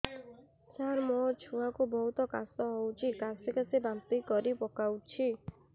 ସାର ମୋ ଛୁଆ କୁ ବହୁତ କାଶ ହଉଛି କାସି କାସି ବାନ୍ତି କରି ପକାଉଛି